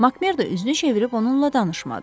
Makmerda üzünü çevirib onunla danışmadı.